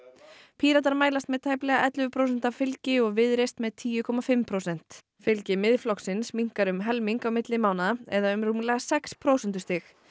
Píratar mælast með tæplega ellefu prósenta fylgi og Viðreisn með tíu komma fimm prósent fylgi Miðflokksins minnkar um helming á milli mánaða eða um rúmlega sex prósentustig